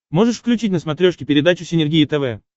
можешь включить на смотрешке передачу синергия тв